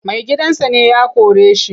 Maigidansa ne ya kore shi.